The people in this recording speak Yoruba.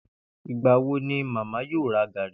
Ìgbà wo ni màámi yóò ra gàrí?